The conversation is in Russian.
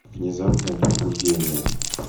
внезапное пробуждение